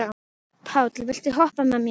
Páll, viltu hoppa með mér?